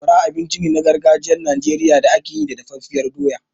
Sakwara abinci ne na gargajiyar Najeriya da ake yi da dafaffiyar doya.